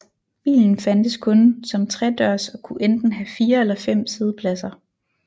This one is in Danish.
Bilen fandtes kun som tredørs og kunne enten have fire eller fem siddepladser